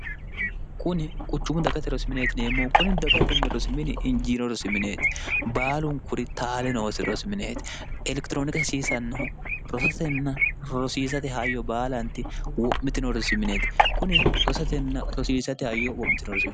kuni quchumu dagate rosimineetineemmo kuni dagatm rosimini injiino rosimineeti baalunkuri taale noosi rosimineeti elekitirooniki hasiisannahu rosatenna rosiisate hayyo baalaanti wo'mitino rosimineeti kuni rosatenna rosiisate hayyo wo'miio r